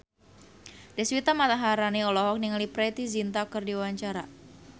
Deswita Maharani olohok ningali Preity Zinta keur diwawancara